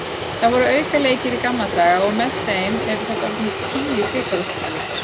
Það voru aukaleikir í gamla daga og með þeim eru þetta orðnir tíu bikarúrslitaleikir.